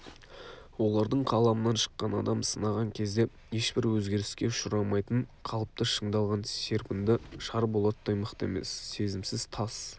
олардың қаламынан шыққан адам сынаған кезде ешбір өзгеріске ұшырамайтын қалыпты шыңдалған серпінді шар болаттай мықты емес сезімсіз тас